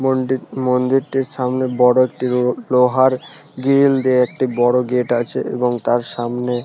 মন্দির মন্দিরটির সামনে বড় একটি লো লোহার গিরিল দিয়ে একটি বড় গেট আছে এবং তার সামনে--